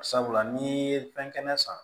Sabula n'i ye fɛn kɛnɛ san